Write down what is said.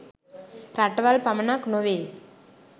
රටවල් පමණක් නොවේ.